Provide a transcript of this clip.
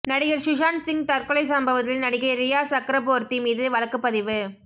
நடிகர் சுஷாந்த் சிங் தற்கொலை சம்பவத்தில் நடிகை ரியா சக்ரபோர்த்தி மீது வழக்குப்பதிவு